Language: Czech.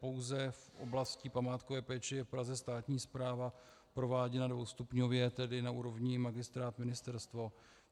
Pouze v oblasti památkové péče je v Praze státní správa prováděna dvoustupňově, tedy na úrovni magistrát - ministerstvo.